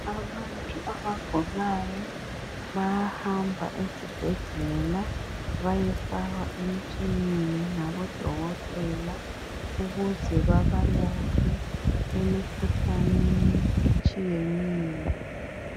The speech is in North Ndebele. Abantu abagulayo bayahamba ezibhedlela bayofakwa emitshineni ngabodokotela ukuze babalaphe emikhuhlaneni etshiyeneyo